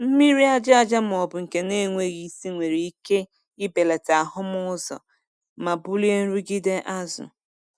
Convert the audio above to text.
Mmiri aja aja ma ọ bụ nke na-enweghị isi nwere ike ibelata ahụmụ ụzọ ma bulie nrụgide azụ.